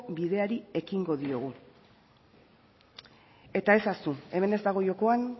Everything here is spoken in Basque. bideari ekingo diogu eta ez ahaztu hemen ez dago jokoan